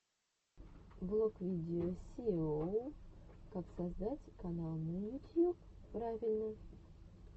влог видео сииоу как создать канал на ютьюб правильно